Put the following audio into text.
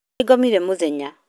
Nĩ ngomire mũthenya